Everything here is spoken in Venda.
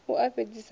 a u fhedzisa a u